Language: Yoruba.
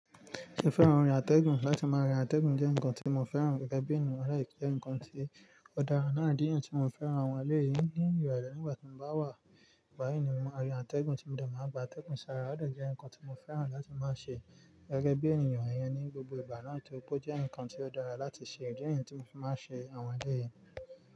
Mo fẹ́ran orin àtẹ̀gùn. Láti máa rin àtẹ̀gùn jẹ́ nǹkan tí mo fẹ́ran gẹ́gẹ́ bí ènìyàn láì kí jẹ́ ǹkan tí ó dára náà di èyí tí mo fẹ́ran àwọn ọmọ ilé yìí ní ìrọ̀lẹ́ nígbà tí mo bá wà báyìí ni mo máa rin àtẹ̀gùn tí mo dà máa gbà tẹ́kùn sára ó dà jẹ́ ǹkan tí mo fẹ́ran láti máa ṣe gẹ́gẹ́ bí ènìyàn yẹn ní gbogbo ìgbà náà tí ó pé ó jẹ́ ǹkan tí ó dára láti ṣe ìdí nìyí tí mo fi máa ń ṣe àwọn ọmọ eléyii yìí.